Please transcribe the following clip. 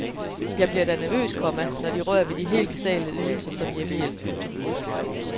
Jeg bliver da nervøs, komma når de rører ved de helt basale ydelser som hjemmehjælp. punktum